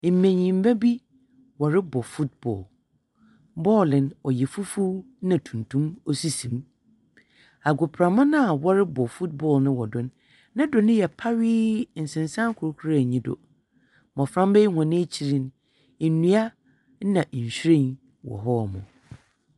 Mbenyimba bi wɔrobɔ football. Ball no yɛ fufuw na tuntum sisi hɔ. Agoprama no a wɔrebɔ football no wɔ do no, Ne do no yɛ pawee, nsensan kor koraa nyi do. Mbɔframba yi hɔn ekyir no, ndua na nhwiren wɔ hɔ.